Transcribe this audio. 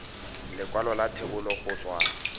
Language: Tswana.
lekwalo la thebolo go tswa